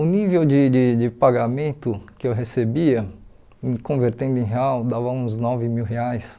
O nível de de de pagamento que eu recebia, convertendo em real, dava uns nove mil reais.